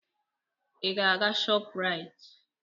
Ị ga-aga Shoprite?